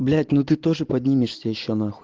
блять ну ты тоже поднимешься ещё нахуй